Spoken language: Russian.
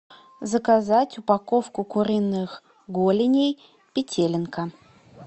заказать упаковку куриных голеней петелинка